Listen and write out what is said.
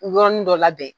Yɔrɔnin dɔ labɛn